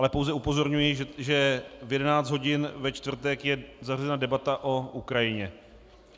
Ale pouze upozorňuji, že v 11 hodin ve čtvrtek je zařazena debata o Ukrajině.